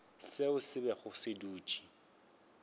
seo se bego se dutše